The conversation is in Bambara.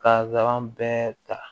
Ka zara bɛɛ ta